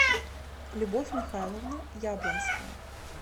любовь михайловна яблонская